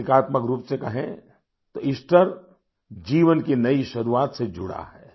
प्रतीकात्मक रूप से कहें तो ईस्टर जीवन की नई शुरुआत से जुड़ा है